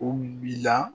U bila